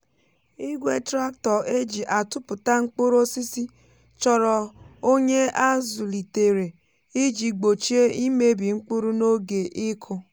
igwe tractor e ji atụpụta mkpụrụ osisi chọrọ onye a zụlitere iji gbochie imebi mkpụrụ n’oge ịkụ.